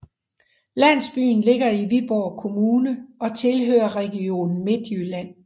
Landsbyen ligger i Viborg Kommune og tilhører Region Midtjylland